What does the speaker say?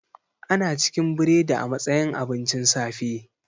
Ana cikin biredi a matsayin abincin safe